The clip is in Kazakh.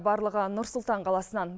барлығы нұр сұлтан қаласынан